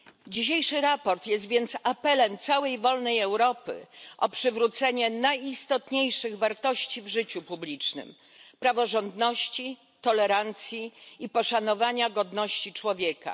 Dzisiejsze sprawozdanie jest więc apelem całej wolnej Europy o przywrócenie najistotniejszych wartości w życiu publicznym praworządności, tolerancji i poszanowania godności człowieka.